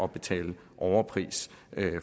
betale overpris